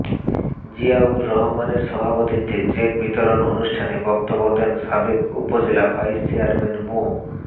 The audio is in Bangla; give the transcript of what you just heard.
জিয়াউর রহমানের সভাপতিত্বে চেক বিতরণ অনুষ্ঠানে বক্তব্য দেন সাবেক উপজেলা ভাইস চেয়ারম্যান মো